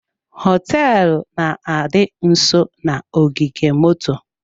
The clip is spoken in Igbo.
Hoteelu na-adị nsọ na-ogige moto.